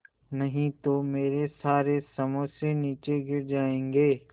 नहीं तो मेरे सारे समोसे नीचे गिर जायेंगे